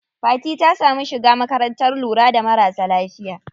Fati ta samu shiga makarantar lura da marasa lafiya.